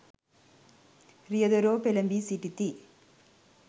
රියදුරෝ පෙළඹී සිටිති.